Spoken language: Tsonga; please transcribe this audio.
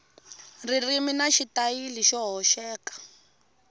ririmi na xitayili xo hoxeka